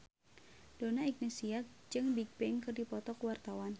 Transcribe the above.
Donna Agnesia jeung Bigbang keur dipoto ku wartawan